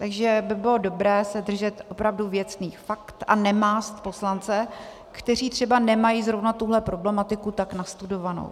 Takže by bylo dobré se držet opravdu věcných faktů a nemást poslance, kteří třeba nemají zrovna tuhle problematiku tak nastudovanou.